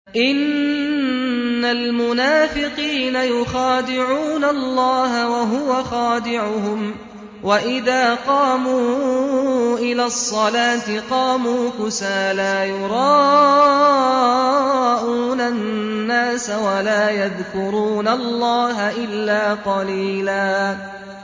إِنَّ الْمُنَافِقِينَ يُخَادِعُونَ اللَّهَ وَهُوَ خَادِعُهُمْ وَإِذَا قَامُوا إِلَى الصَّلَاةِ قَامُوا كُسَالَىٰ يُرَاءُونَ النَّاسَ وَلَا يَذْكُرُونَ اللَّهَ إِلَّا قَلِيلًا